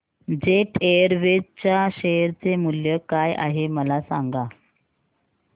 jet Airways च्या share चे मूल्य काय आहे मला सांगा